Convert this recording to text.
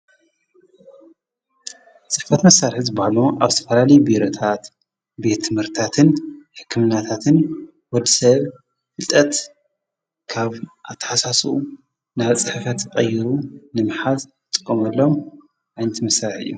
ጽሕፈት መሣርሕዝ በሃሎ ኣብ ተፈላሊ ብረታት ቤት ምህርታትን ሕክምናታትን ወድ ሰብ ፍልጠት ካብ ኣተሓሳሱ ናብ ጽሕፈት ቐይሩ ንምሓዝ ጥቆምሎም ኣንት መሳረሒ እዩ ።